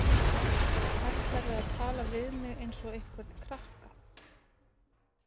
Ætlarðu að tala við mig eins og einhvern krakka?